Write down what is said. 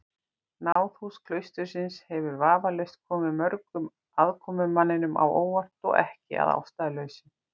Náðhús klaustursins hefur vafalaust komið mörgum aðkomumanninum á óvart, og ekki að ástæðulausu.